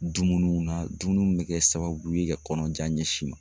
Dumuniw na dumuniw bɛ kɛ sababu ye ka kɔnɔjan ɲɛsin in ma.